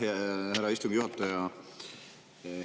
Aitäh, härra istungi juhataja!